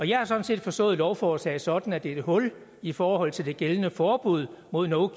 jeg har sådan set forstået lovforslaget sådan at det er et hul i forhold til det gældende forbud mod no